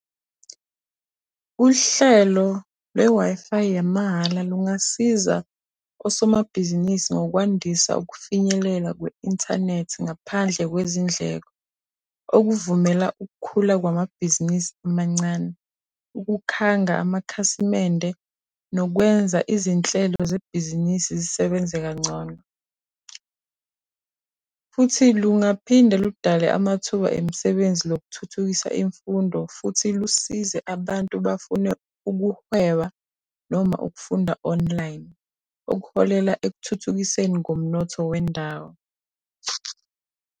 Uhlelo lwe-Wi-Fi yamahhala lungasiza osomabhizinisi ngokwandisa ukufinyelela kwe-inthanethi ngaphandle kwezindleko, okuvumela ukukhula kwamabhizinisi amancane, ukukhanga amakhasimende, nokwenza izinhlelo zebhizinisi zisebenze kangcono. Futhi lungaphinde ludale amathuba emisebenzi lokuthuthukisa imfundo futhi lusize abantu abafuna ukuhweba noma ukufunda online, okuholela ekuthuthukiseni komnotho wendawo.